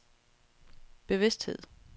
bevidsthed